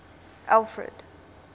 alfred